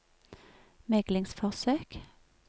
meglingsforsøk